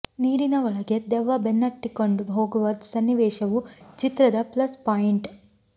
ನೀರಿನ ಒಳಗೆ ದೆವ್ವ ಬೆನ್ನಟ್ಟಿಕೊಂಡು ಹೋಗುವ ಸನ್ನಿವೇಶವು ಚಿತ್ರದ ಪ್ಲಸ್ ಪಾಯಿಂಟ್